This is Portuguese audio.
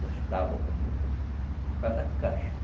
Duas tábuas bonitas, assim, e faz a caixa.